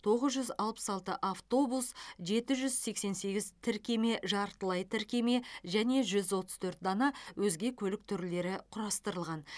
тоғыз жүз алпыс алты автобус жеті жүз сексен сегіз тіркеме жартылай тіркеме және жүз отыз төрт дана өзге көлік түрлері құрастырылған